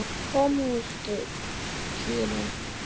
Komdu Týri!